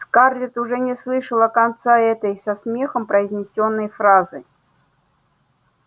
скарлетт уже не слышала конца этой со смехом произнесённой фразы